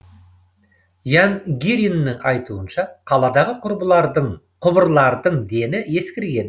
ян гириннің айтуынша қаладағы құбырлардың дені ескірген